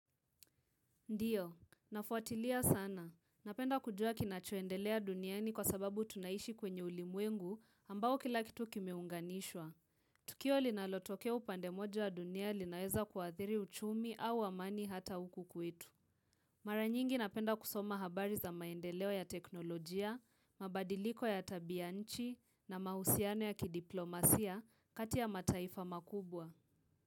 Ndiyo, nafuatilia sana. Napenda kujua kinachoendelea duniani kwa sababu tunaishi kwenye ulimwengu ambao kila kitu kimeunganishwa. Tukio linalotokea upande moja wa dunia linaweza kuadhiri uchumi au amani hata huku kwetu. Mara nyingi napenda kusoma habari za maendeleo ya teknolojia, mabadiliko ya tabia nchi na mahusiano ya kidiplomasia kati ya mataifa makubwa.